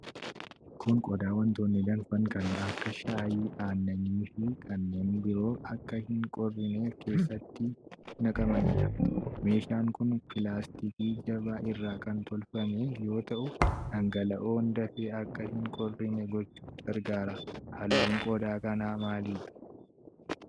Kun qodaa wantoonni danfan kanneen akka shaayii, aannanii fi kanneen biroo akka hin qorrineef keessatti naqamanidha. Meeshaan kun pilaastika jabaa irra kan tolfame yoo ta'u, dhanqala'oon dafee akka hin qorrine gochuuf gargaara. Halluun qodaa kanaa maalidha?